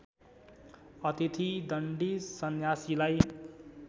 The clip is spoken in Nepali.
अतिथि दण्डी सन्यासीलाई